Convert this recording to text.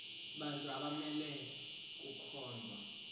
bantu abamele kukhonzwa